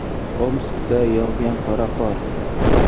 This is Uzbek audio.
Omskda yog‘gan qora qor.